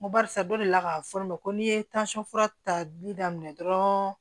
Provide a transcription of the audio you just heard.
N ko barisa dɔ delila k'a fɔ ne ma ko n'i ye fura tali daminɛ dɔrɔn